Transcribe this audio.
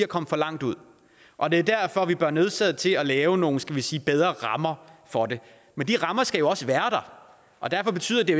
kommet for langt ud og det er derfor vi er nødsaget til at lave nogle skal vi sige bedre rammer for det men de rammer skal jo også være der og derfor betyder det